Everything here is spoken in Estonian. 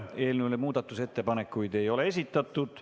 Eelnõu kohta muudatusettepanekuid ei ole esitatud.